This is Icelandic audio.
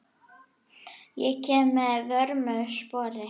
Ég kem að vörmu spori.